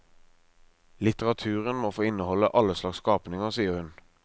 Litteraturen må få inneholde alle slags skapninger, sier hun.